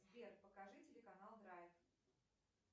сбер покажи телеканал драйв